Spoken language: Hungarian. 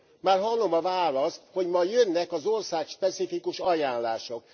Már hallom a választ, hogy majd jönnek az országspecifikus ajánlások.